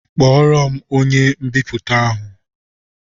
Kpọọro m onye mbipụta ahụ!